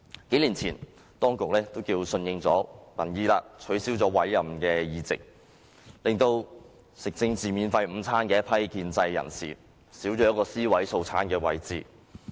數年前，當局可算是順應民意，取消委任議席，令吃政治免費午餐的一批建制人士，少了一個尸位素餐的地方。